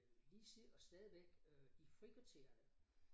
Øh lige sidder og stadigvæk øh i frikvartererne